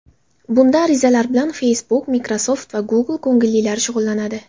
Bunda arizalar bilan Facebook, Microsoft va Google ko‘ngillilari shug‘ullanadi.